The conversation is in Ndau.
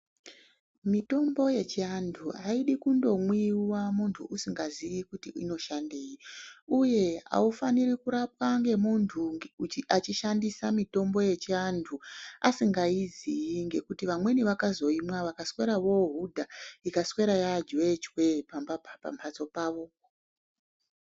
Mitombo yechi antu aidi kundo mwiwa muntu usingazii kuti inoshandei uye aufaniri kurapwa nge muntu achi shandisa mitombo yechi antu asingazi ngekuti vamweni vakazo imwa vakaswera vo hudha ikaswera ya juwe chwe pa mbatso pavo.